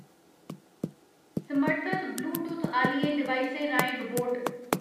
समर्थत Bluetooth आह्लियें डिवाइसें राहें रोबोट